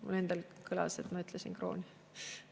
Mul endal kõlas, et ma ütlesin "kroon".